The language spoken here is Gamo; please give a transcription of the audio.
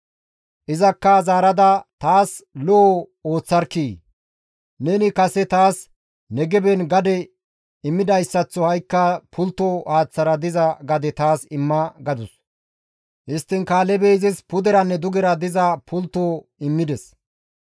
Izakka zaarada, «Taas lo7o ooththarkkii! Neni kase taas Negeben gade immidayssaththo ha7ikka pultto haaththara diza gade taas imma» gadus. Histtiin Kaalebey izis puderanne dugera diza pultto immides.